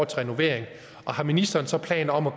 til renovering og har ministeren så planer om at